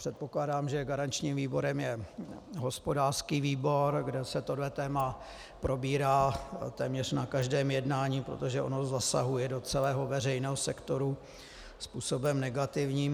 Předpokládám, že garančním výborem je hospodářský výbor, kde se tohle téma probírá téměř na každém jednání, protože ono zasahuje do celého veřejného sektoru způsobem negativním.